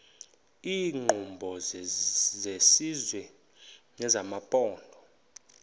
iinkqubo zesizwe nezamaphondo